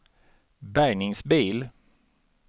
bärgningsbil